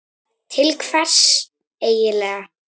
Til hvers eigin lega?